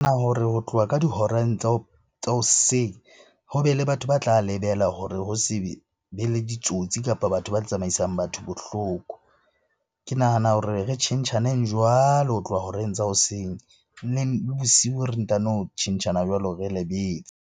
Hore ho tloha ka dihoreng tsa hoseng, ho be le batho ba tla lebela hore ho se be le ditsotsi kapa batho ba tsamaisang batho bohloko. Ke nahana hore re tjhentjhaneng jwalo ho tloha horeng tsa hoseng. Bosiu re ntano tjhentjhana jwalo re lebetse.